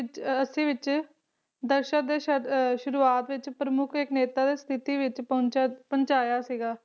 ਅੱਸੀ ਵਿੱਚ ਆ ਅੱਸੀ ਵਿਚ ਦਸ਼ਕ ਦੇ ਸ਼ੁਰੂਆਤ ਵਿੱਚ ਪ੍ਰਮੁੱਖ ਇਕ ਨੇਤਾ ਸੇ ਦੀ ਸਥਿਤੀ ਵਿੱਚ ਪਹੁੰਚ ਪਹੁੰਚਾਇਆ ਸੀਗਾ